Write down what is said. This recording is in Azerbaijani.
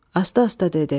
Asta-asta dedi: